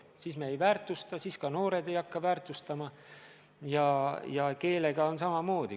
Kui meie kõike oma ei väärtusta, siis ka noored ei hakka väärtustama, ja keelega on samamoodi.